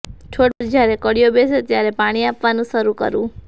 છોડ પર જ્યારે કળીઓ બેસે ત્યારે પાણી આપવાનું શરૂ કરવું